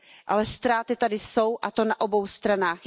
Ale ztráty tady jsou a to na obou stranách.